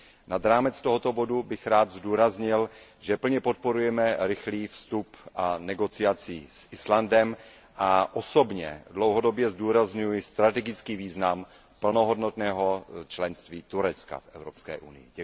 Nad rámec tohoto bodu bych rád zdůraznil, že plně podporujeme rychlý vstup a jednání s Islandem a osobně dlouhodobě zdůrazňuji strategický význam plnohodnotného členství Turecka v Evropské unii.